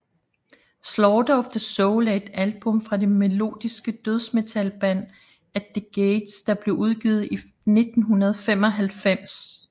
Slaughter of the Soul er et album fra det melodiske dødsmetalband At the Gates der blev udgivet i 1995